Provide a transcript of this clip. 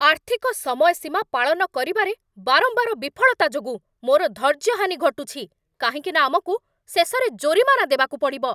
ଆର୍ଥିକ ସମୟସୀମା ପାଳନ କରିବାରେ ବାରମ୍ବାର ବିଫଳତା ଯୋଗୁଁ ମୋର ଧୈର୍ଯ୍ୟହାନି ଘଟୁଛି, କାହିଁକି ନା ଆମକୁ ଶେଷରେ ଜୋରିମାନା ଦେବାକୁ ପଡ଼ିବ।